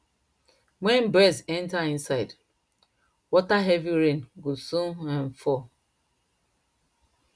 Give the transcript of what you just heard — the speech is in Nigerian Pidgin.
wen birds enter inside water heavy rain go soon um fall